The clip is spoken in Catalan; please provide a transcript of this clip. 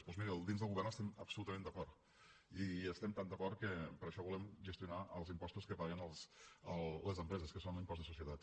doncs miri dins del govern hi estem absolutament d’acord i hi estem tan d’acord que per això volem gestionar els impostos que paguen les empreses que són l’impost de societat